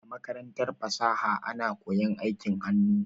A makarantar fasaha ana koyan aikin hannu.